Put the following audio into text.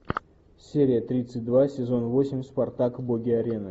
серия тридцать два сезон восемь спартак боги арены